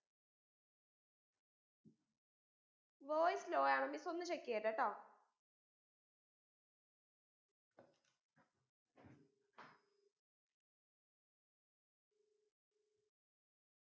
voice law യാണ് miss ഒന്ന് check ചെയട്ടെട്ടൊ